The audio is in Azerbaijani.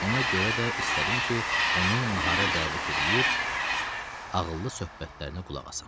Ona görə də istədim ki, onu nahara dəvət eləyib ağıllı söhbətlərinə qulaq asam.